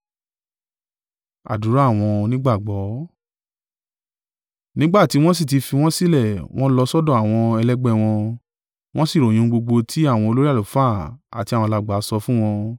Nígbà tí wọ́n sì ti fi wọ́n sílẹ̀ wọ́n lọ sọ́dọ̀ àwọn ẹlẹgbẹ́ wọn, wọ́n sì ròyìn ohun gbogbo tí àwọn olórí àlùfáà àti àwọn alàgbà sọ fún wọn.